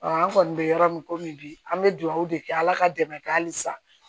an kɔni bɛ yɔrɔ min komi bi an bɛ dugawu de kɛ ala ka dɛmɛ kɛ hali sa